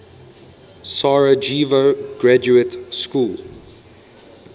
sarajevo graduate school